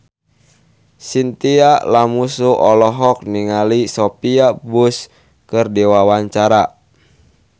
Chintya Lamusu olohok ningali Sophia Bush keur diwawancara